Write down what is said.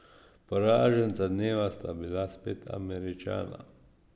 Poraženca dneva sta bila spet Američana.